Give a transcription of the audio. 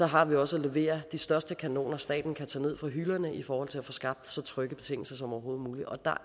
har vi også at levere de største kanoner staten kan tage ned fra hylderne i forhold til at få skabt så trygge betingelser som overhovedet muligt og der